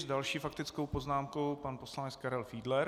S další faktickou poznámkou pan poslanec Karel Fiedler.